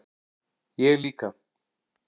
Ég líka